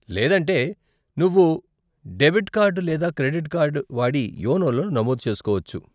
లేదంటే, నువ్వు debit card లేదా క్రెడిట్ కార్డు వాడి యోనోలో నమోదు చేసుకోవచ్చు.